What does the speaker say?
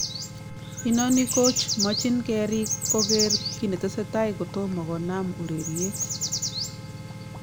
Inoni kochmachin keriik koker kinetesetai kotomo konam urerriet